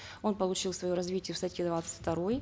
он получил свое развитие в статье двадцать второй